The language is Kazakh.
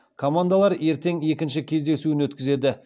командалар ертең екінші кездесуін өткізеді